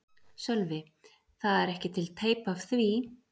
Sölvi: Það er ekki til teip af því?